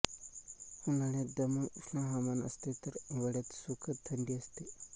उन्हाळ्यात दमटउष्ण हवामान असते तर हिवाळ्यात सुखद थंडी असते